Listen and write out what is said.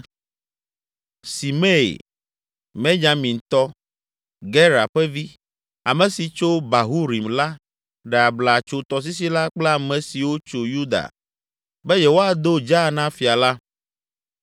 Simei, Benyamintɔ, Gera ƒe vi, ame si tso Bahurim la ɖe abla tso tɔsisi la kple ame siwo tso Yuda be yewoado dzaa na Fia la.